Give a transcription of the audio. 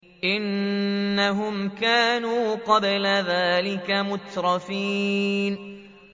إِنَّهُمْ كَانُوا قَبْلَ ذَٰلِكَ مُتْرَفِينَ